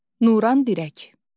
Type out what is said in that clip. Nurən dirək.